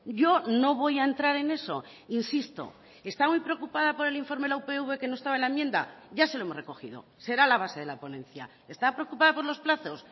yo no voy a entrar en eso insisto está muy preocupada por el informe la upv que no estaba en la enmienda ya se lo hemos recogido será la base de la ponencia está preocupada por los plazos